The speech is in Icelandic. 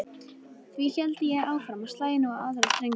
Því héldi ég áfram og slægi nú á aðra strengi